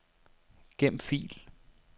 Gem fil.